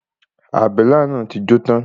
Àbélà náà ti jó tán.